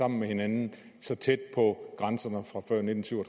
med hinanden så tæt på grænserne fra før nitten syv og